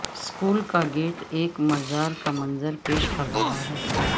school کا gate ایک مزار کا منظر پیش کر رہا ہے